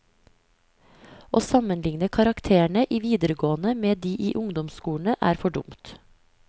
Å sammenligne karakterene i videregående med de i ungdomsskolene er for dumt.